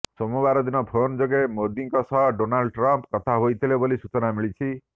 ସୋମାବାର ଦିନ ଫୋନ୍ ଯୋଗେ ମୋଦିଙ୍କ ସହ ଡୋନାଲ୍ଡ ଟ୍ରମ୍ପ କଥା ହୋଇଥିଲେ ବୋଲି ସୂଚନା ମିଳିଛି